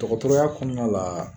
Tɔgɔtɔrɔya kɔnɔna la